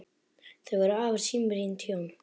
Þau voru afar samrýnd hjón.